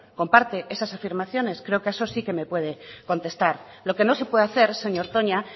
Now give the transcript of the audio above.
comparte esas afirmaciones creo que eso sí me puede contestar lo que no se puede hacer señor toña